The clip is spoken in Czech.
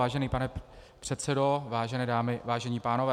Vážený pane předsedo, vážené dámy, vážení pánové.